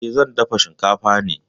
Eh, zan dafa shinkafa ne.